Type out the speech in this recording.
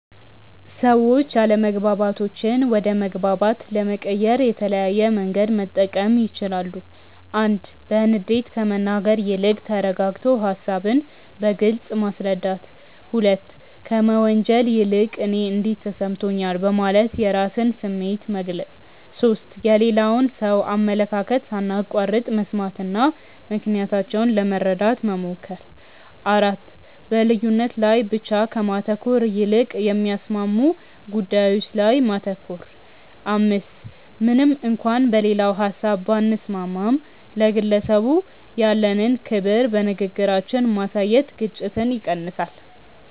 ሰዎች አለመግባባቶችን ወደ መግባባት ለመቀየር የተለያየ መንገድ መጠቀም ይችላሉ፦ 1. በንዴት ከመናገር ይልቅ ተረጋግቶ ሃሳብን በግልጽ ማስረዳት። 2. ከመወንጀል ይልቅ "እኔ እንዲህ ተሰምቶኛል" በማለት የራስን ስሜት መግለጽ። 3. የሌላውን ሰው አመለካከት ሳናቋርጥ መስማትና ምክንያታቸውን ለመረዳት መሞከር። 4. በልዩነት ላይ ብቻ ከማተኮር ይልቅ የሚያስማሙ ጉዳዮች ላይ ማተኮር። 5. ምንም እንኳን በሌላው ሀሳብ ባንስማማም፣ ለግለሰቡ ያለንን ክብር በንግግራችን ማሳየት ግጭትን ይቀንሳል።